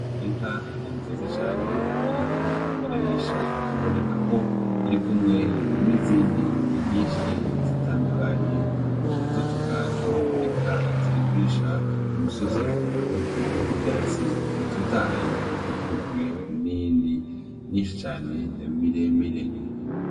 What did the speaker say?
Inka nziza cane iriko irarisha biboneka ko irikumwe n'izindi nyinshi zitandukanye z'utugaju ,eka ziri kurisha kumusozi uriko ubwatsi butotahaye ukikujwe n'iyindi myinshi cane miremire.